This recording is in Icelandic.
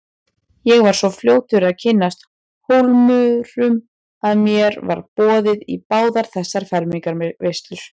Ég var svo fljótur að kynnast Hólmurum að mér var boðið í báðar þessar fermingarveislur.